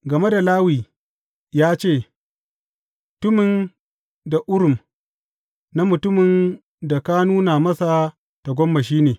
Game da Lawi ya ce, Tummim da Urim na mutumin da ka nuna masa tagomashi ne.